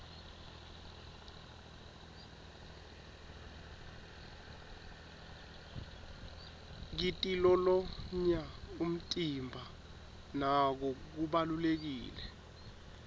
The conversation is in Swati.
kitilolonya umtimba nako kubalulekile